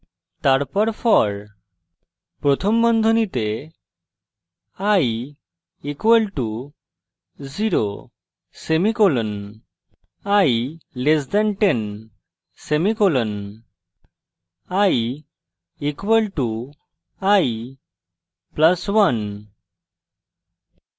তারপর for প্রথম বন্ধনীতে i = 0 semicolon i <10 semicolon i = i + 1